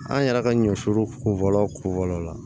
An yɛrɛ ka ɲɔ foro kofɔlaw ko fɔlɔ la